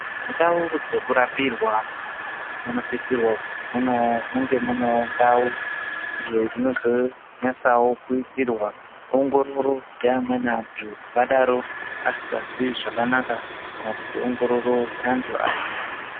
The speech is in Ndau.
Mundau dzekurapirwa munosisirwa kuzi munge munewo ndau iyo inozonyasawo kuitirrwa ongororo dzeamweni antu akadaro asikazwi zvakanaka, kana kuti ongororo yeantu aya.